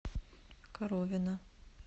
коровина